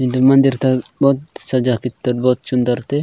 इंदे मंडेरता बोथ सजा कितर बोथ चुन्दरते।